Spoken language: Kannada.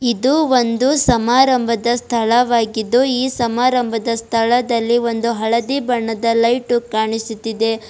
ಇದು ಒಂದು ಸಮಾರಂಭದ ಸ್ಥಳವಾಗಿದ್ದು ಈ ಸಮಾರಂಭದ ಸ್ಥಳದಲ್ಲಿ ಒಂದು ಹಳದಿ ಬಣ್ಣದ ಲೈಟ ಕಾಣಿಸುತ್ತಿದೆ.